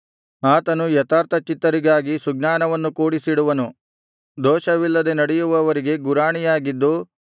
ಆತನು ಯಥಾರ್ಥಚಿತ್ತರಿಗಾಗಿ ಸುಜ್ಞಾನವನ್ನು ಕೂಡಿಸಿಡುವನು ದೋಷವಿಲ್ಲದೆ ನಡೆಯುವವರಿಗೆ ಗುರಾಣಿಯಾಗಿದ್ದು